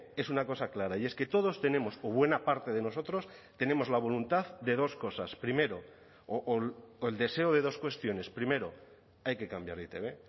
es una cosa clara y es que todos tenemos o buena parte de nosotros tenemos la voluntad de dos cosas primero o el deseo de dos cuestiones primero hay que cambiar e i te be